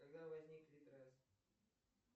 когда возник литрес